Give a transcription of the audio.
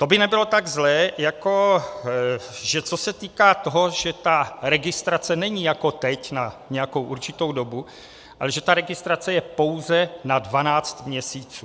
To by nebylo tak zlé, jako že co se týká toho, že ta registrace není jako teď na nějakou určitou dobu, ale že ta registrace je pouze na 12 měsíců.